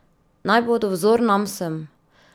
Naj bodo vzor nam vsem!